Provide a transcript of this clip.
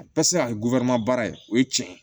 A bɛɛ bɛ se ka kɛ baara ye o ye tiɲɛ ye